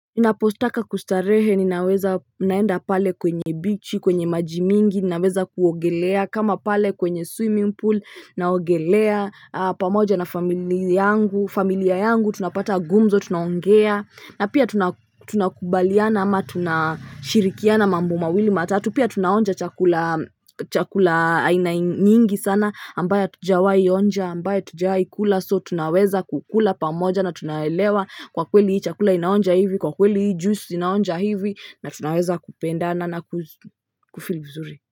Ninapotaka kustarehe, ninaweza, naenda pale kwenye ufuo wa bahari, kwenye maji mengi, ninaweza kuogelea, kama pale kwenye swimming pool, naogelea pamoja na familia yangu, familia yangu, tunapata gumzo, tunaongea, na pia tunakubaliana, au tunashirikiana mambo mawili matatu, pia tunaonja chakula aina nyingi sana, ambayo hatujawahi kuonja, ambacho hatujawahi kula, so tunaweza kukila pamoja. Na tunaelewa kwa kweli chakula hiki kinaonja hivi, kwa kweli juisi hii inaonja hivi. Na tunaweza kupendana na kuhisi vizuri.